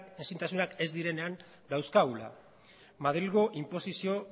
ezintasunak ez direnean dauzkagula madrilgo inposizio